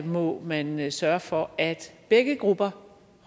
må man man sørge for at begge grupper